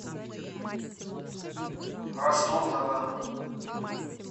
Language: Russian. ростов на дону